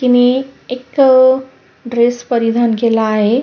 तिने एक ड्रेस परिधान केला आहे.